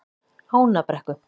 Ánabrekku